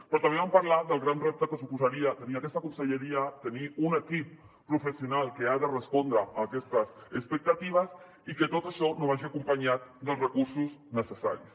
però també vam parlar del gran repte que suposaria tenir aquesta conselleria tenir un equip professional que ha de respondre a aquestes expectatives i que tot això no vagi acompanyat dels recursos necessaris